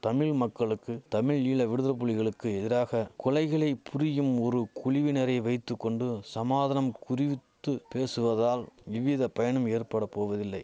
தமிழ் மக்களுக்கு தமிழீழ விடுதலைபுலிகளுக்கு எதிராக கொலைகளை புரியும் ஒரு குழுவினரை வைத்து கொண்டு சமாதானம் குறிவித்து பேசுவதால் இவ்வித பயனும் ஏற்பட போவதில்லை